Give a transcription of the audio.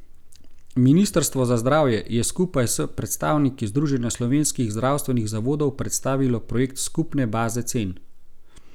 Ministrstvo za zdravje je skupaj s predstavniki združenja slovenskih zdravstvenih zavodov predstavilo projekt skupne baze cen.